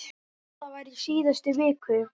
Þetta var í síðustu viku.